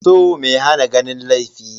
So mai hana ganin laifi.